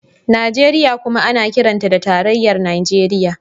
Najeriya kuma ana kiranta da tarayyar Najeriya.